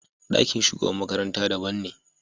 Ɗakin shugaban makaranta daban ne.